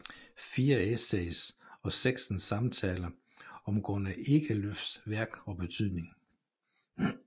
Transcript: Fire essays og seksten samtaler om Gunnar Ekelöfs værk og betydning